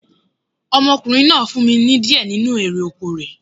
Ọmọkùnrin náà fún mi ní di ẹ nínu erè oko rẹ̀